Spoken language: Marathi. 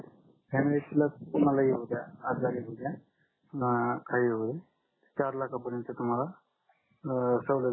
फॅमिलीला कोणालाही होऊ द्या आजारी होऊ द्या अं काही होऊ द्या चार लाख पर्यन्त तुम्हाला अं सवलत भेटून जाईल